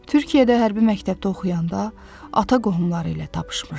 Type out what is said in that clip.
Türkiyədə hərbi məktəbdə oxuyanda ata qohumları ilə tapışmışdı.